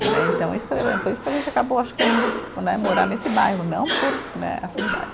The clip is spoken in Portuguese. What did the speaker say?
Né, então isso eh, por isso que a gente acabou, acho que, indo né, morar nesse bairro, não por né, afinidade.